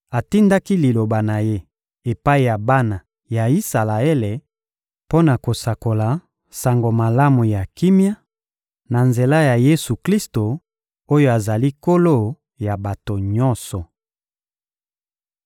Atindaki Liloba na Ye epai ya bana ya Isalaele mpo na kosakola Sango Malamu ya kimia, na nzela ya Yesu-Klisto oyo azali Nkolo ya bato nyonso.